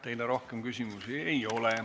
Teile rohkem küsimusi ei ole.